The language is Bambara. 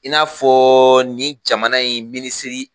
I n'a fɔ ni jamana in minisiri